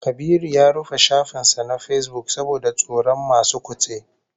Kabiru ya rufe shafin sa na Facebook saboda tsoron masu kutse